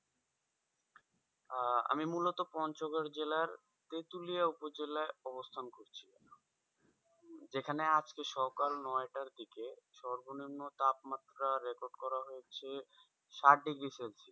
আহ আমি মূলত পঞ্চগড় জেলার তেঁতুলিয়া উপজেলায় অবস্থান করছি যে খানে আজকে সকাল নয়টায় দিকে সর্বনিম্ন তাপমাত্রা record করা হয়েছে সাত degree celsius